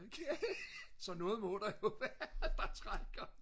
så noget må der jo være der trækker